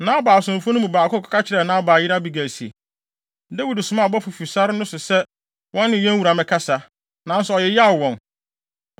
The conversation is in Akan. Nabal asomfo no mu baako kɔka kyerɛɛ Nabal yere Abigail se, “Dawid somaa abɔfo fi sare no so sɛ wɔne yɛn wura mmɛkasa, nanso ɔyeyaw wɔn.